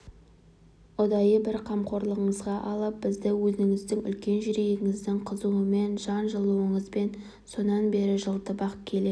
ұдайы бір қамқорлығыңызға алып бізді өзіңіздің үлкен жүрегіңіздің қызуымен жан жылуыңызбен сонан бері жылытып-ақ келе